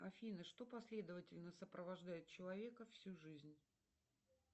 афина что последовательно сопровождает человека всю жизнь